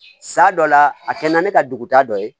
San dɔ la a kɛ na ne ka duguta dɔ ye